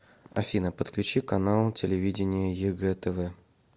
афина подключи канал телевидения егэ тв